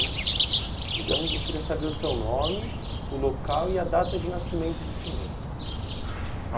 Então, eu queria saber o seu nome, o local e a data de nascimento do senhor.